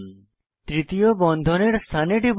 তৃতীয় বন্ধনের স্থানে টিপুন